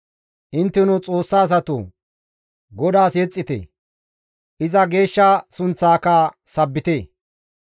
Intteno Xoossa asatoo! GODAAS yexxite; iza geeshsha sunththaaka sabbite.